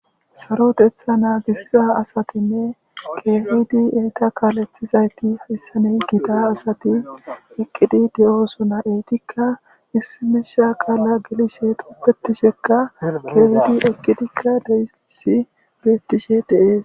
Saroteththa naagisiza asatinne keehidi eta kaaleththizayti hayssan gita asati eqqidi de'osona. Etikka issi miishsha qaala gelishe dugetidikka keehidi eqqidikka de'izayssi beettishe beetes.